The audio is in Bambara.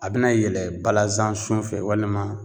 A bɛna yɛlɛ balasan sun fɛ walima